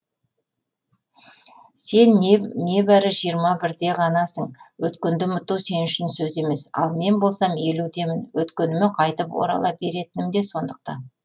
сен небәрі жиырма бірде ғанасың өткенді ұмыту сен үшін сөз емес ал мен болсам елудемін өткеніме қайтып орала беретінім де сондықтан